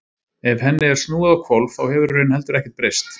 Ef henni er snúið á hvolf þá hefur í raun heldur ekkert breyst.